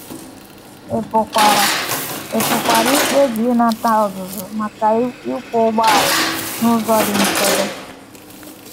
Ị pụkwara Ị pụkwara ikpebi ịnata ọzụzụ maka ịkwọ ụgbọala n’ụzọ dị nchebe.